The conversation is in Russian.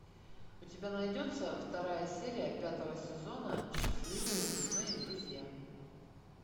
у тебя найдется вторая серия пятого сезона счастливые лесные друзья